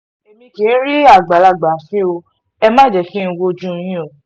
èmi kì í rí àgbàlagbà fín ọ ẹ má jẹ́ kí n wojú yín o